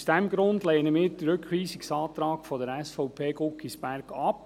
Aus diesem Grund lehnen wir den Rückweisungsantrag SVP/Guggisberg ab.